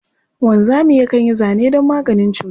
Wanzami yakan yi zane don maganin cuta.